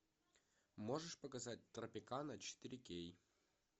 можешь показать тропикана четыре кей